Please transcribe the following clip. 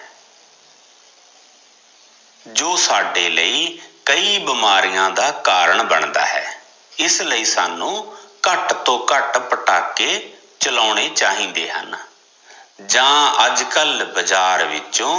ਜੋ ਸਾਡੇ ਲਈ ਕਈ ਬੀਮਾਰਿਆ ਦਾ ਕਾਰਨ ਬਣਦਾ ਹੈ, ਇਸ ਲਈ ਸਾਨੂ ਘੱਟ ਤੋਂ ਘੱਟ ਪਟਾਕੇ ਚਲਾਉਣੇ ਚਾਹੀਦੇ ਹਨ ਜਾਂ ਅੱਜ ਕੱਲ ਬਾਜ਼ਾਰ ਵਿਚੋ